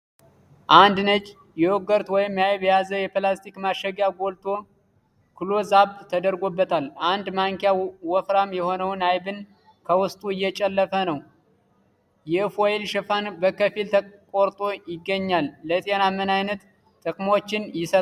አንድ ነጭ ዮጉርት ወይም አይብ የያዘ የፕላስቲክ ማሸጊያ ጎልቶ ክሎዝ-አፕ ተደርጎበታል። አንድ ማንኪያ ወፍራም የሆነውን አይብን ከውስጡ እየጨለፈ ነው። የ ፎይል ሽፋን በከፊል ተቆርጦ ይገኛል። ለጤና ምን ዓይነት ጥቅሞችን ይሰጣል?